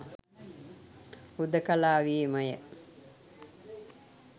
හුදෙකලාවේමය